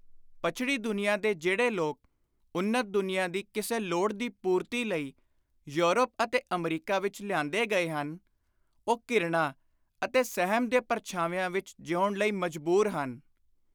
ਪੱਛੜੀ ਦੁਨੀਆਂ ਦੇ ਜਿਹੜੇ ਲੋਕ ਉੱਨਤ ਦੁਨੀਆਂ ਦੀ ਕਿਸੇ ਲੋੜ ਦੀ ਪੂਰਤੀ ਲਈ ਯੂਰਪ ਅਤੇ ਅਮਰੀਕਾ ਵਿਚ ਲਿਆਂਦੇ ਗਏ ਹਨ, ਉਹ ਘਿਰਣਾ ਅਤੇ ਸਹਿਮ ਦੇ ਪਰਛਾਵਿਆਂ ਵਿਚ ਜੀਉਣ ਲਈ ਮਜਬੁਰ ਹਨ।